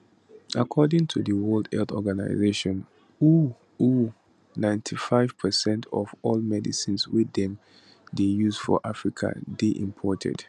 according to di world health organization who who 95 percent of all medicines wey dem dey use for africa dey imported